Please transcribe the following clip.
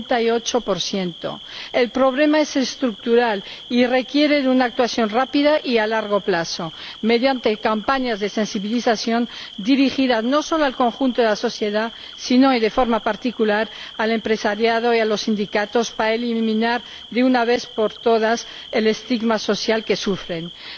78 El problema es estructural y requiere una actuación rápida y a largo plazo, mediante campañas de sensibilización dirigidas no solo al conjunto de la sociedad, sino, y de forma particular, al empresariado y a los sindicatos para eliminar de una vez por todas el estigma social que sufre esta minoría.